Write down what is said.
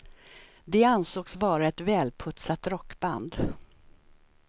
De ansågs vara ett välputsat rockband.